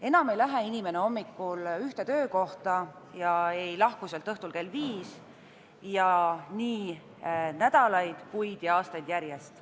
Enam ei lähe inimene hommikul ühte töökohta ega lahku sealt õhtul kell viis – nii nädalaid, kuid ja aastaid järjest.